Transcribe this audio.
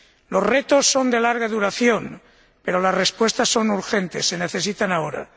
Los retos son de larga duración, pero las respuestas son urgentes, se necesitan ahora.